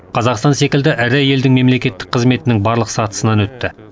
қазақстан секілді ірі елдің мемлекеттік қызметінің барлық сатысынан өтті